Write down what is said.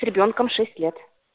с ребёнком шесть лет